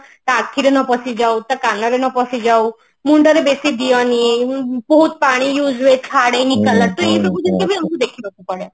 ତା ଆଖିରେ ନ ପଶି ଯାଉ ତା କାନରେ ନ ପଶି ଯାଉ ମୁଣ୍ଡରେ ବେଶି ଦିଅନି ବହୁତ ପାଣି use ହୁଏ ଛାଡେନି color ଏଇ ଜିନିଷ ସବୁ ଆମକୁ ଦେଖିବାକୁ ପଡେ